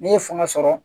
N'i ye fanga sɔrɔ